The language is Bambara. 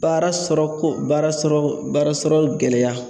Baara sɔrɔ ko baara sɔrɔ baara yɔrɔ gɛlɛya